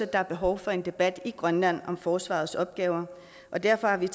er behov for en debat i grønland om forsvarets opgaver og derfor har vi